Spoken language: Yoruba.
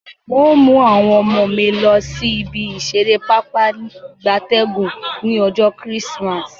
N o mu awon omo mi losi ibi isere papa igabtegun ni ojo Chrismas